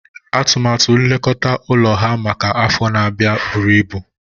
Atụmatụ nlekọta ụlọ ha maka afọ na-abịa buru ibu